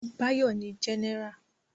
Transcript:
Báyọ̀ ni Jẹ́nẹ́rà